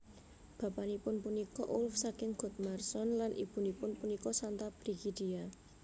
Bapanipun punika Ulf saking Godmarsson lan ibunipun punika Santa Brigidia